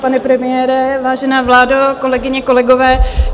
Pane premiére, vážená vládo, kolegyně, kolegové.